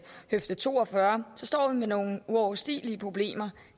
høfde to og fyrre så står vi med nogle uoverstigelige problemer